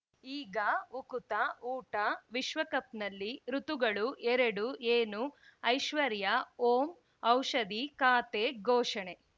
ಈಗ ಉಕುತ ಊಟ ವಿಶ್ವಕಪ್‌ನಲ್ಲಿ ಋತುಗಳು ಎರಡು ಏನು ಐಶ್ವರ್ಯಾ ಓಂ ಔಷಧಿ ಖಾತೆ ಘೋಷಣೆ